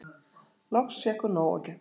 Loks fékk hún nóg og gekk út.